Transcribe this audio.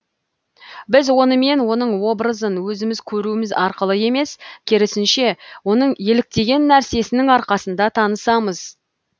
біз онымен оның образын өзіміз көруіміз арқылы емес керісінше оның еліктеген нәрсесінің арқасында танысамыз